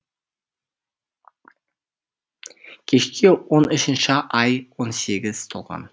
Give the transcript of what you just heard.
кешке он үшінші ай он сегіз толған